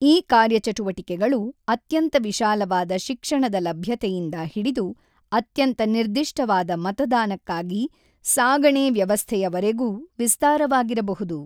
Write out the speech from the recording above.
ಈ ಕಾರ್ಯಚಟುವಟಿಕೆಗಳು ಅತ್ಯಂತ ವಿಶಾಲವಾದ ಶಿಕ್ಷಣದ ಲಭ್ಯತೆಯಿಂದ ಹಿಡಿದು ಅತ್ಯಂತ ನಿರ್ದಿಷ್ಟವಾದ ಮತದಾನಕ್ಕಾಗಿ ಸಾಗಣೆ-ವ್ಯವಸ್ಥೆಯವರೆಗೂ ವಿಸ್ತಾರವಾಗಿರಬಹುದು.